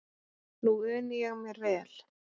Nú uni ég mér vel.